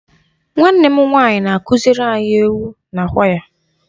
Nwanne m nwanyị na-akụziri anyị egwu na kwaya.